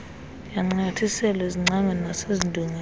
yancanyathiselwa ezingcangweni nasezindongeni